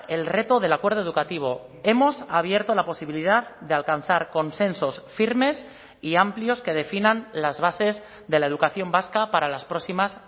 el reto del acuerdo educativo hemos abierto la posibilidad de alcanzar consensos firmes y amplios que definan las bases de la educación vasca para las próximas